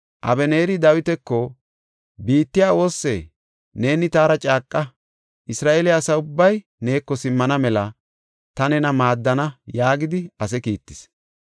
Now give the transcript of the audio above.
Abeneeri Dawitako, “Biittay oossee? Neeni taara caaqa; Isra7eele asa ubbay neeko simmana mela ta nena maaddana” yaagidi ase kiittis.